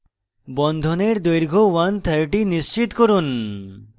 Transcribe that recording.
বন্ধনের দৈর্ঘ্য 130 নিশ্চিত করুন